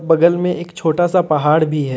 बगल में एक छोटा सा पहाड़ भी है।